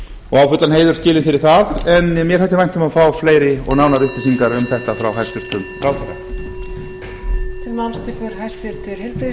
og á fullan heiður skilið fyrir það en mér þætti vænt um að fá fleiri og nánari upplýsingar um þetta frá hæstvirtum ráðherra